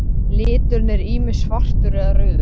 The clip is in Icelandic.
Liturinn er ýmist svartur eða rauður.